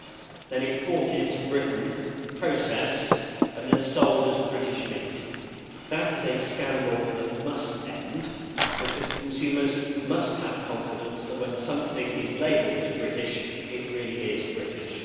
is then imported into Britain, processed, and sold as British meat. That is a scandal that must end because consumers must have confidence that, when something is labelled as British, it really is British.